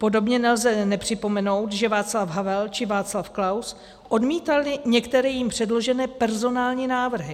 Podobně nelze nepřipomenout, že Václav Havel či Václav Klaus odmítali některé jim předložené personální návrhy.